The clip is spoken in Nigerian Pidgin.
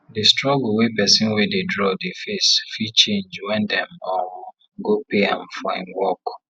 the struggle wey pesin wey dey draw dey face fit change when dem um go pay am for him work